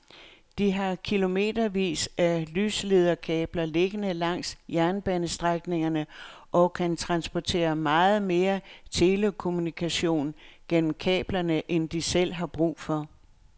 De har kilometervis af lyslederkabler liggende langs jernbanestrækningerne og kan transportere meget mere telekommunikation gennem kablerne end de selv har brug for.